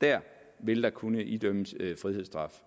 der vil der kunne idømmes frihedsstraf